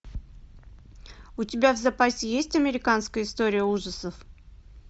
у тебя в запасе есть американская история ужасов